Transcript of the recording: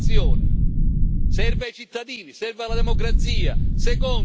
Prima innovazione serve ai cittadini, serve alla democrazia.